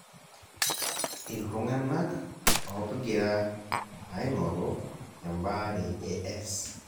iltunganak opgira aingoru ebaare e S.